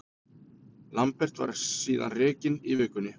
Lambert var síðan rekinn í vikunni.